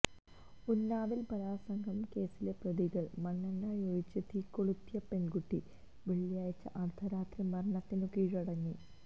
ഉന്നാവിൽ ബലാത്സംഗക്കേസിലെ പ്രതികൾ മണ്ണെണ്ണയൊഴിച്ചു തീകൊളുത്തിയ പെൺകുട്ടി വെള്ളിയാഴ്ച അർധരാത്രി മരണത്തിനു കീഴടങ്ങി